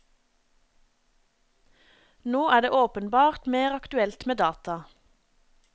Nå er det åpenbart mer aktuelt med data.